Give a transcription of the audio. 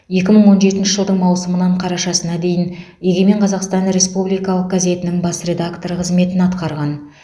екі мың он жетінші жылдың маусымынан қарашасына дейін егемен қазақстан республикалық газетінің бас редакторы қызметін атқарған